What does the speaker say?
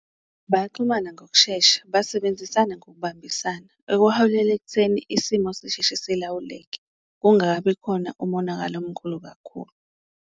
Bayaxhumana ngokushesha, basebenzisana ngokubambisana okuholela ekutheni isimo sisheshe silawuleke, kungakabi khona umonakalo omkhulu kakhulu.